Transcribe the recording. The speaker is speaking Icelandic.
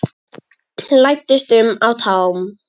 Læddist um á tánum.